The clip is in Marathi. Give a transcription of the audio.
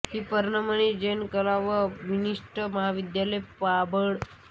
श्री पद्ममणी जैन कला व वाणिज्य महाविद्यालय पाबळ